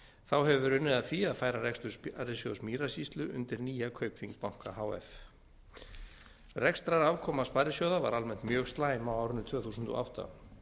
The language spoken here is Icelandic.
þá hefur verið unnið að því að færa rekstur sparisjóðs mýrasýslu undir nýja kaupþing banka h f rekstrarafkoma sparisjóða var almennt mjög slæm á árinu tvö þúsund og átta